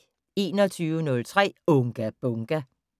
21:03: Unga Bunga!